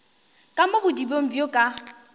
ka mo bodibeng bjo ka